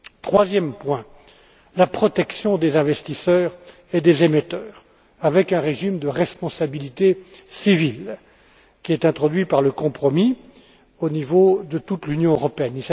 Troisième point, la protection des investisseurs et des émetteurs, avec un régime de responsabilité civile, qui est introduit par le compromis, au niveau de toute l'Union européenne.